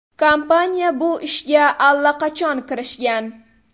Kompaniya bu ishga allaqachon kirishgan.